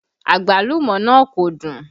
Àgbálùmọ́ náà kò dùn